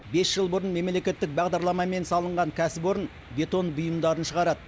бес жыл бұрын мемлекеттік бағдарламамен салынған кәсіпорын бетон бұйымдарын шығарады